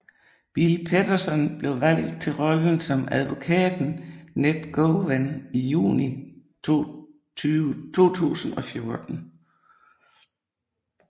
Bill Paterson blev valgt til rollen som advokaten Ned Gowan i juni 2014